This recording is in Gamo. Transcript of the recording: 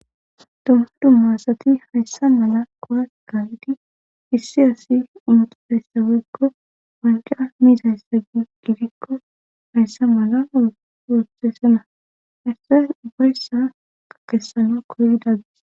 adtomma dummaasati hayssa mala kowaganeti issi asi intereyssa weykko wanja miizayssa gidikko hayssa mala woxesana hassa ubbayssa ka kessano koyidadis